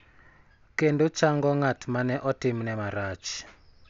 Kendo chango ng�at ma ne otimne marach, .